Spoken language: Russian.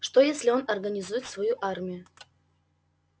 что если он организует свою армию